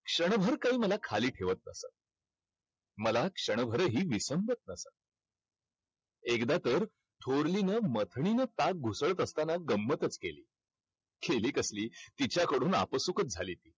क्षणभर काही मला खाली ठेवत नव्हतं. मला क्षणभरही विसंगत एकदा तर थोरलीनं ताक घुसळत असताना गंमतच केली. केली कसली तिच्याकडून आपसूकच झाली.